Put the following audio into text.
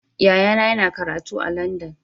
Yayana yana karatu a Landan.